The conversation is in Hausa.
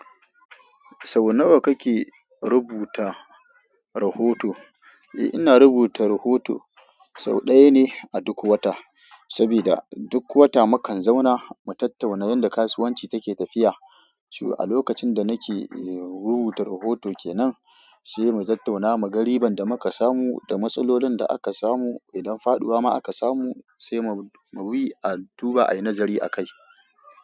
Sau nawa kake rubuta rahoto? Eh, ina rubuta rahoto sau ɗaya ne a duk wata. Saboda duk wata mu kan zauna mu tattauna yadda kasuwanci take tafiya. Cewa a lokacin da nake rubuta rahoto ke nan, sai mu tattauna muga riban da muka samu, da matsalolin da aka samu, idan faɗuwa ma aka samu sai mu, mu bi a duba a yi nazari a kai.